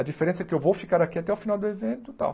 A diferença é que eu vou ficar aqui até o final do evento e tal.